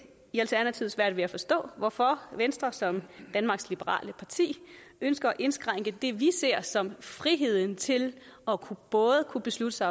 svært ved at forstå i hvorfor venstre som danmarks liberale parti ønsker at indskrænke det vi ser som friheden til både at kunne beslutte sig